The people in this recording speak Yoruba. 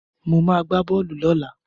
Mo ma gbá bọ́ọ̀lù lọ́la